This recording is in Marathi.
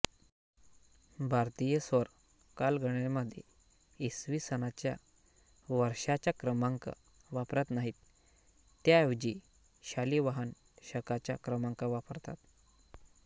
भारतीय सौर कालगणनेमध्ये इसवी सनाच्या वर्षाचा क्रमांक वापरत नाहीत त्याऐवजी शालिवाहन शकाचा क्रमांक वापरतात